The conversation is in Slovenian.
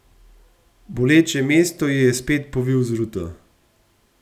Boleče mesto ji je spet povil z ruto.